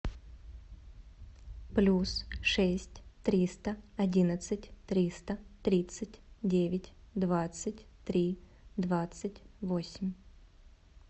плюс шесть триста одиннадцать триста тридцать девять двадцать три двадцать восемь